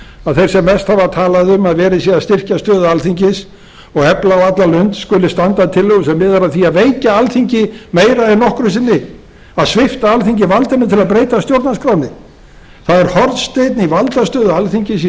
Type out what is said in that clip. að þeir sem mest hafa talað um að verið sé að styrkja stöðu alþingis og efla á alla lund skuli standa að tillögu sem miðar að því að veikja alþingi meira en nokkru sinni að svipta alþingi valdinu til að breyta stjórnarskránni það er hornsteinninn í valdastöðu alþingis í